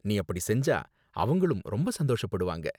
நீ அப்படி செஞ்சா அவங்களும் ரொம்ப சந்தோஷப்படுவாங்க.